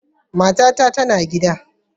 Matata tana gida.